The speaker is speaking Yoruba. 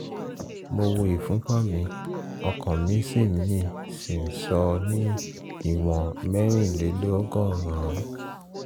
mo wo ìfúnpá mi ọkàn mi sì mi sì n sọ ní ìwọ̀n mẹ́rìn-lé-lọ́gọ́rùn-ún